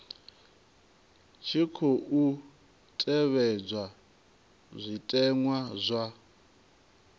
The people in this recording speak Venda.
tshi khou tevhedzwa zwitenwa zwa